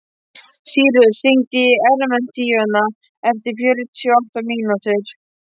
Sírus, hringdu í Emerentíönu eftir fjörutíu og átta mínútur.